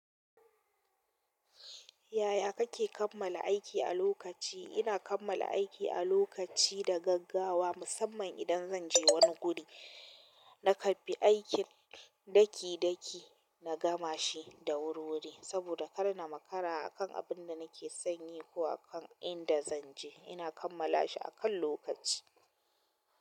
Yaya kake kammala aiki a lokaci? Ina kammala aiki a lokaci da gaggawa, musamman idan zan je wani guri. Na karɓi aikin ɗaki ɗaki na gama shi da wuri wuri. Saboda kar na makara akan abin da nake sanye ko akan inda zan je. Ina kamma lashi akan lokaci.